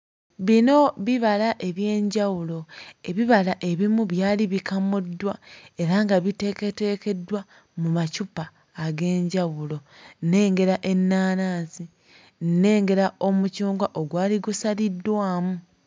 Bino bibala eby'enjawulo, ebibala ebimu byali bikamuddwa era nga biteeketeekeddwa mu macupa eg'enjawulo. Nnengera ennaanansi, nnengera omucungwa ogwali gusaliddwamu.